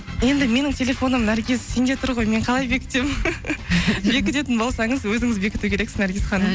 енді менің телефоным наргиз сенде тұр ғой мен қалай бекітемін бекітетін болсаңыз өзіңіз бекіту керексіз наргиз ханым